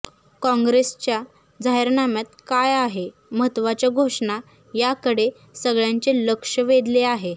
कॉंग्रेसच्या जाहीरनाम्यात काय आहे महत्वाच्या घोषणा याकडे सगळ्यांचे लक्ष वेधले आहे